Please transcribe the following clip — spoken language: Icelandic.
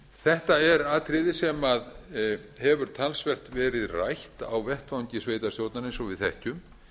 þetta er atriði sem hefur talsvert verið rætt á vettvangi sveitarstjórna eins og við þekkjum